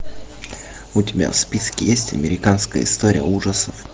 у тебя в списке есть американская история ужасов